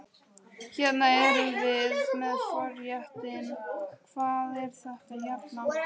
Hérna erum við með forréttinn, hvað er þetta hérna?